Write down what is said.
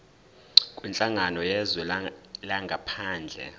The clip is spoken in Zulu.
kwinhlangano yezwe langaphandle